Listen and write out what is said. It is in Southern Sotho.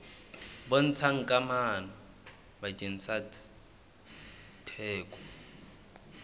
bontshang kamano pakeng tsa theko